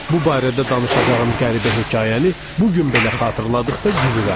Bu barədə danışacağım qəribə hekayəni bu gün belə xatırladıqda gülürəm.